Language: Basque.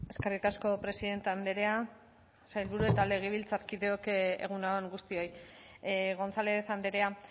eskerrik asko presidente andrea sailburu eta legebiltzarkideok egun on guztioi gonzález andrea